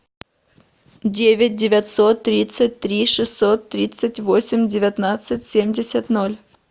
девять девятьсот тридцать три шестьсот тридцать восемь девятнадцать семьдесят ноль